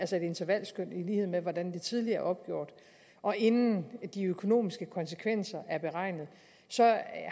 til et intervalskøn i lighed med hvordan det tidligere opgjort og inden de økonomiske konsekvenser er beregnet